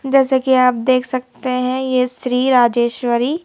जैसे कि आप देख सकते हैं यह श्री राजेश्वरी--